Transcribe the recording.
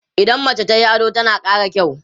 idan mace tayi ado tana ƙara kyau